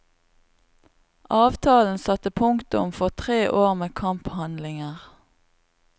Avtalen satte punktum for tre år med kamphandlinger.